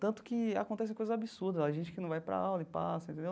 Tanto que acontece coisas absurdas lá, gente que não vai para aula e passa, entendeu?